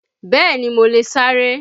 Bẹ́ẹ̀ni, mo lè sáré